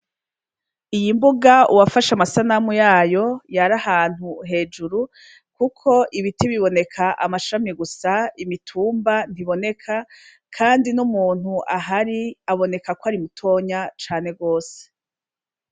Iyi mbuga uwafashe amasanamu yayo yari ahantu hejuru kuko ibiti biboneka amashami gusa imitumba ntiboneka kandi n’umuntu ahari aboneka ko ari mutoya cane gose.